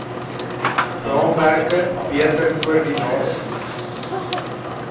raamwerke beter koordinasie